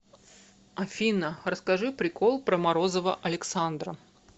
афина расскажи прикол про морозова александра